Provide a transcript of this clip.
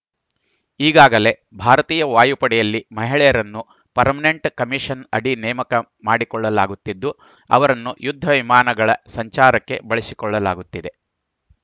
ಈಗಾಗಲೇ ಭಾರತೀಯ ವಾಯುಪಡೆಯಲ್ಲಿ ಮಹಿಳೆಯರನ್ನು ಪರ್ಮನೆಂಟ್‌ ಕಮೀಷನ್‌ ಅಡಿ ನೇಮಕ ಮಾಡಿಕೊಳ್ಳಲಾಗುತ್ತಿದ್ದು ಅವರನ್ನು ಯುದ್ಧ ವಿಮಾನಗಳ ಸಂಚಾರಕ್ಕೆ ಬಳಸಿಕೊಳ್ಳಲಾಗುತ್ತಿದೆ